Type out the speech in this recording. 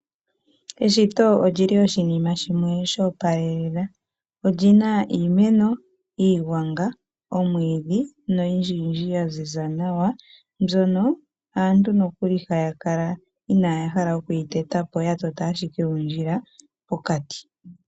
Eshito oshinima lyoopala olyina iimeko, iigwanga, omwiidhi noyindji ya ziza nawa mbyono aantu ihaaya kala ya hala okuteta po, haya kala ashike yatota okandjila pokati.